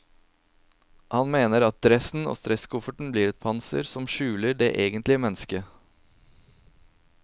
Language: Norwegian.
Han mener at dressen og stresskofferten blir et panser som skjuler det egentlige menneske.